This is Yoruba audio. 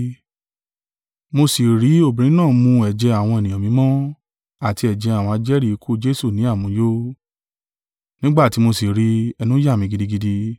Mo sì rí obìnrin náà mu ẹ̀jẹ̀ àwọn ènìyàn mímọ́, àti ẹ̀jẹ̀ àwọn ajẹ́rìí ikú Jesu ní àmuyó. Nígbà tí mo sì rí i, ẹnu yà mi gidigidi.